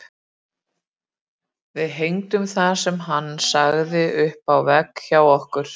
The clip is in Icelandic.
Við hengdum það sem hann sagði upp á vegg hjá okkur.